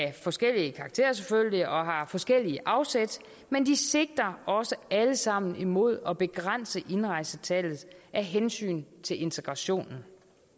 af forskellig karakter og har forskellige afsæt men de sigter også alle sammen imod at begrænse indrejsetallet af hensyn til integrationen